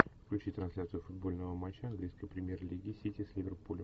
включи трансляцию футбольного матча английской премьер лиги сити с ливерпулем